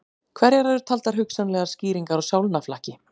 Hverjar eru taldar hugsanlegar skýringar á sálnaflakki?